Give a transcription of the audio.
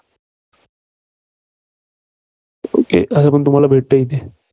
okay तसपण तुम्हाला भेटते येथे.